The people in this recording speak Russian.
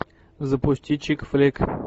запусти чик флик